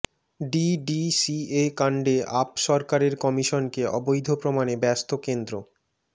DDCA কাণ্ডে আপ সরকারের কমিশনকে অবৈধ প্রমাণে ব্যস্ত কেন্দ্র